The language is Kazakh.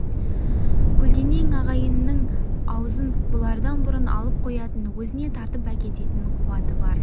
көлденең ағайынның аузын бұлардан бұрын алып қоятын өзіне тартып әкететін қуаты бар